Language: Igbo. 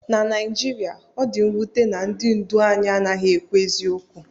Na Naijiria, ọ dị mwute na ndị ndu anyị anaghị ekwu eziokwu